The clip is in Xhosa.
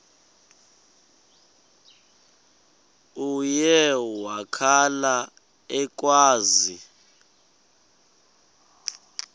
uye wakhala ekhwaza